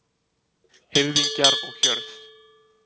Hirðingjar og hjörð